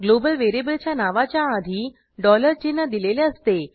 global व्हेरिएबलच्या नावाच्या आधी डॉलर चिन्ह दिलेले असते